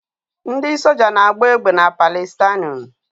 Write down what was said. Ndị soja na-agba egbe na Palịstaịnụ